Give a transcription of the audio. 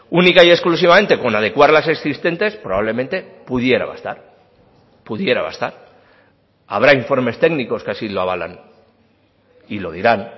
única y exclusivamente con adecuar las existentes probablemente pudiera bastar pudiera bastar habrá informes técnicos que así lo avalan y lo dirán